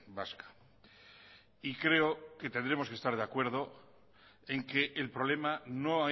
vasca y creo que tendremos que estar de acuerdo en que el problema no